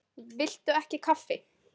Viltu ekki kaffi?